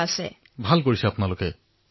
প্ৰধানমন্ত্ৰীঃ আৰু কোন কোন আছে আপোনাৰ সৈতে